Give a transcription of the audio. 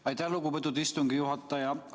Aitäh, lugupeetud istungi juhataja!